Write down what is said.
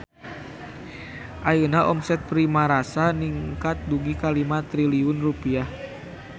Ayeuna omset Primarasa ningkat dugi ka 5 triliun rupiah